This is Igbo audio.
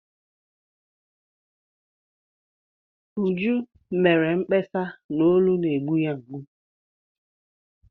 Uju mere mkpesa na olu na-egbu ya mgbu.